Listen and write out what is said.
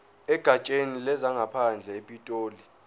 egatsheni lezangaphandle epitoli